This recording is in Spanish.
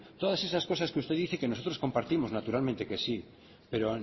todas esas cosas que usted dice y que nosotros compartimos naturalmente que sí pero